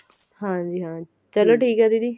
ਹਾਂਜੀ ਹਾਂ ਚਲੋ ਠੀਕ ਏ ਦੀਦੀ